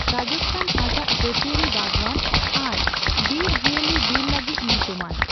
ᱨᱟᱡᱽᱛᱷᱟᱱ ᱟᱡᱟᱜ ᱡᱟᱹᱛᱤᱭᱟᱹᱨᱤ ᱵᱟᱜᱣᱟᱱ ᱟᱨ ᱵᱤᱨ ᱡᱤᱣᱟᱹᱞᱤ ᱵᱤᱨ ᱞᱟᱹᱜᱤᱫ ᱧᱩᱛᱩᱢᱟᱱ ᱾